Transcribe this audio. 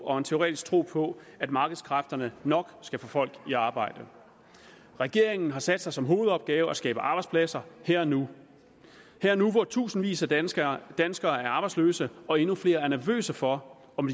og en teoretisk tro på at markedskræfterne nok skal få folk i arbejde regeringen har sat sig som hovedopgave at skabe arbejdspladser her og nu her og nu hvor tusindvis af danskere danskere er arbejdsløse og endnu flere er nervøse for om